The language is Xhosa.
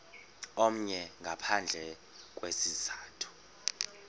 omnye ngaphandle kwesizathu